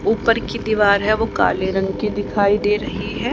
ऊपर की दीवार है वो काले रंग की दिखाई दे रही है।